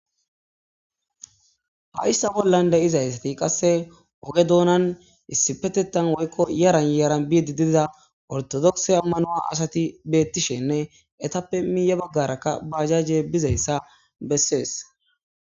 hayssa bollan de izaysati qasse oge doonan issi petetan woykko yaran yaran biidi dida ortodokse ammanoa asati beettishenne etappe miiya baggarakka bajajje bizayssa bessees